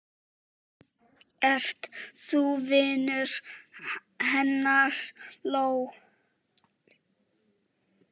Ert þú vinur hennar Lóu?